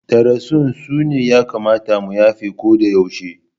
Darussan su ne ya kamata mu yafe ko da yaushe.